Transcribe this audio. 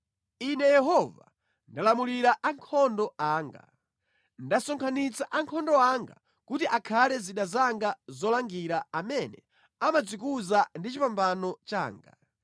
Ine Yehova, ndalamulira ankhondo anga; ndasonkhanitsa ankhondo anga kuti akhale zida zanga zolangira amene amadzikuza ndi chipambano changa.